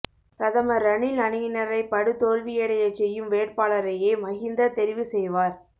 பிரதமர் ரணில் அணியினரைப் படுதோல்வியடையச் செய்யும் வேட்பாளரையே மஹிந்த தெரிவுசெய்வார்